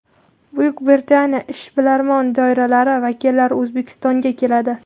Buyuk Britaniya ishbilarmon doiralari vakillari O‘zbekistonga keladi.